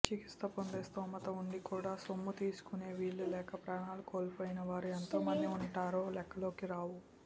చికిత్స పొందే స్థోమత ఉండి కూడా సొమ్ము తీసుకునే వీలు లేక ప్రాణాలు కోల్పోయినవారు ఎంతమంది ఉంటారో లెక్కల్లోకి రావు